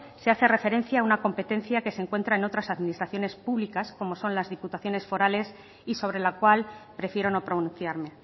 se hace referencia a una competencia que se encuentra en otras administraciones públicas como son las diputaciones forales y sobre la cual prefiero no pronunciarme